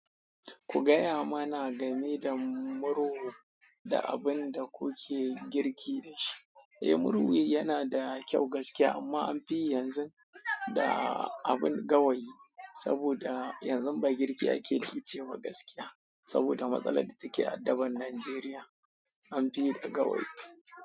Ku gaya mana game da murhu da abin da kuke girki da shi. Eh murhu yana da kyau gaskiya amma an fi yi yanzu da abin gawayi saboda yanzu ba girki ake da ice ba gaskiya saboda matsalar da take addaban Najeriya an fi da gawayi.